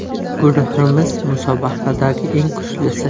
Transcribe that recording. Guruhimiz musobaqadagi eng kuchlisi.